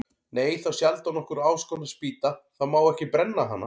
Nei, þá sjaldan okkur áskotnast spýta, þá má ekki brenna hana.